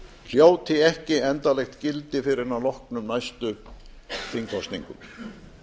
hljóti ekki endanlegt gildi fyrr en að loknum næstu þingkosningum